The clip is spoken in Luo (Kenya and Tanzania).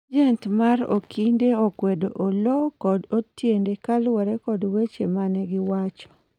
ajent mar Okinde okwedo Oloo kod Otiende kaluwore kod weche mane giwacho